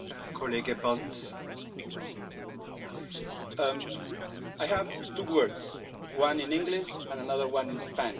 Mr Brudziński, I have two words one in English, and another one in Spanish.